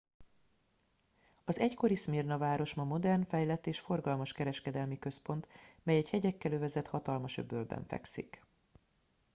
az egykori szmirna város ma modern fejlett és forgalmas kereskedelmi központ mely egy hegyekkel övezett hatalmas öbölben fekszik